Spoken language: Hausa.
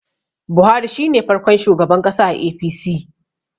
Buhari shi ne farkon shugaban ƙasa a A.p.c